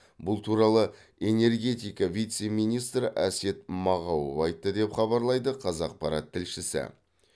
бұл туралы энергетика вице министрі әсет мағауов айтты деп хабарлайды қазақпарат тілшісі